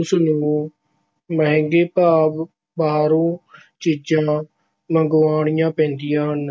ਉਸ ਨੂੰ ਮਹਿੰਗੇ ਭਾਅ ਬਾਹਰੋਂ ਚੀਜ਼ਾਂ ਮੰਗਵਾਉਣੀਆਂ ਪੈਂਦੀਆਂ ਹਨ।